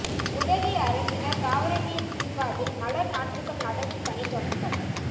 உதகை அரசினா் தாவரவியல் பூங்காவில் மலா் நாற்றுகள் நடவுப் பணி தொடக்கம்